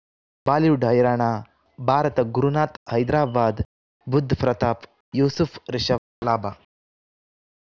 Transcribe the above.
Bollywood ಹೈರಾಣ ಭಾರತ ಗುರುನಾಥ್ ಹೈದರಾಬಾದ್ ಬುಧ್ ಪ್ರತಾಪ್ ಯೂಸುಫ್ ರಿಷಬ್ ಲಾಭ